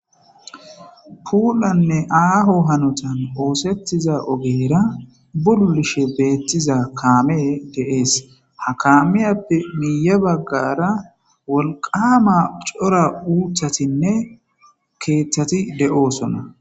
Pulanne aaho hanotan othetiza ogera bululishe diza kamey de'es. Ha kaamiyappe miye bagara wolqama cora uuthatinne kethat de'osona.